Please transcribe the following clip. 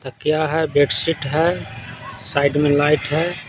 तो क्या है बेडशीट है साइड में लाइट है।